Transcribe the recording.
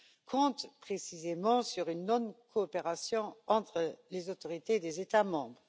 comptent précisément sur une non coopération entre les autorités des États membres.